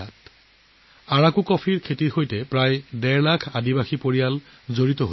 আৰাকু কফিৰ খেতিৰ সৈতে প্ৰায় ডেৰ লাখ জনীয়া জনজাতীয় পৰিয়াল জড়িত হৈ আছে